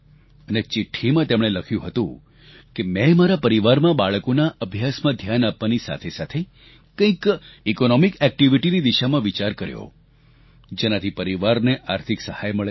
અને ચિઠ્ઠીમાં તેમણે લખ્યું હતું કે મેં મારા પરિવારમાં બાળકોના અભ્યાસમાં ધ્યાન આપવાની સાથોસાથ કંઈક આર્થિક પ્રવૃત્તિ કરવાની દિશામાં વિચાર કર્યો જેનાથી પરિવારને આર્થિક સહાય મળે